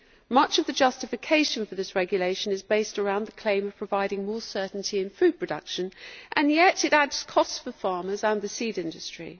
Much of the justification for this regulation is based around the claim providing more certainty in food production, and yet it adds costs for farmers and the seed industry.